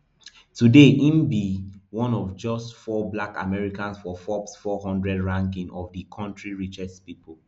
today im be one of just just four black americans for forbes four hundred ranking of di kontri richest pipo